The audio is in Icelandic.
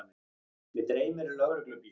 Mig dreymir lögreglubíl.